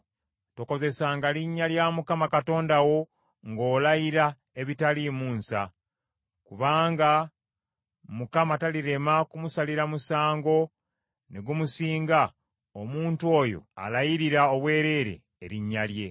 Tokozesanga linnya lya Mukama Katonda wo ng’olayira ebitaliimu nsa: kubanga Mukama talirema kumusalira musango ne gumusinga omuntu oyo alayirira obwereere erinnya lye.